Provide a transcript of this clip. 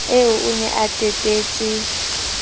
eo o ne a tatetse